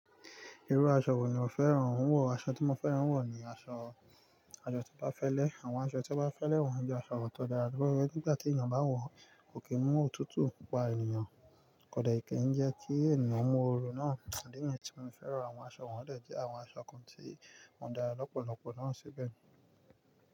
Irú aṣọ wo ni o fẹ́ràn wọ̀? Aṣọ tí mo fẹ́ràn wọ̀ ni aṣọ, aṣọ tí ó bá fẹ́lẹ́. Àwọn aṣọ tí ó bá fẹ́lẹ́ wọ̀n jẹ́ aṣọ ọ̀tọ̀ọ̀dà, torí pé nígbà tí ènìyàn bá wọ̀n, kò kí mú òtútù pa ènìyàn. Kó de kìń jẹ́ kí ènìyàn mú oorun náà. Idi niyẹ́n tí mo fẹ́ràn àwọn aṣọ wọ̀n jẹ́ àwọn aṣọ kan tí wọ́n dára lọ́pọ̀lọpọ̀ náà síbẹ̀.